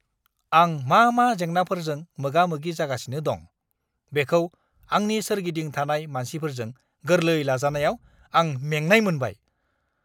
आं मा-मा जेंनाफोरजों मोगा-मोगि जागासिनो दं, बेखौ आंनि सोरगिदिं थानाय मानसिफोरजों गोरलै लाजानायाव आं मेंनाय मोनबाय!